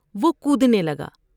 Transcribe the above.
وہ کودنے لگا ۔